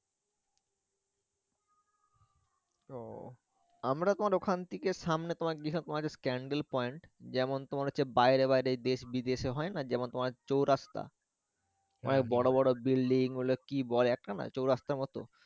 তো আমরা তোমার ওখান থেকে সামনে তোমার candle point যেমন তোমার হচ্ছে বাইরে বাইরে দেশ বিদেশে হয় না যেমন তোমার চৌরাস্তা ওখানে তোমার বড় বড় building ওগুলা কি বলে একটা না চৌরাস্তার মত।